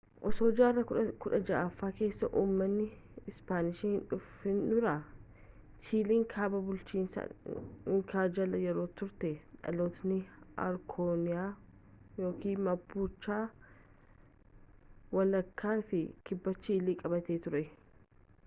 osoo jaarraa 16ffaa keessa ummanni ispaanish hin dhufin dura chiiliin kaabaa bulchiinsa inkaa jala yeroo turtetti dhalattoonni arookaaniyaa mapuche walakkaa fi kibba chiilii qabattee turte